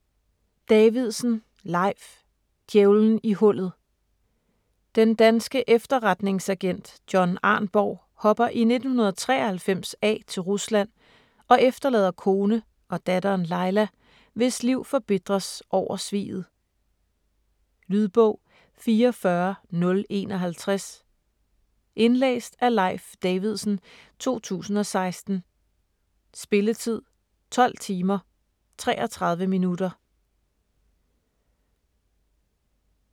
Davidsen, Leif: Djævelen i hullet Den danske efterretningsagent John Arnborg hopper i 1993 af til Rusland og efterlader kone og datteren, Laila, hvis liv forbitres over sviget. Lydbog 44051 Indlæst af Leif Davidsen, 2016. Spilletid: 12 timer, 33 minutter.